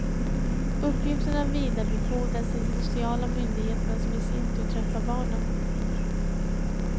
Uppgifterna vidarebefordras till de sociala myndigheterna som i sin tur träffar barnen.